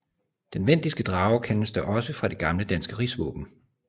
Den vendiske drage kendes da også fra det gamle danske rigsvåben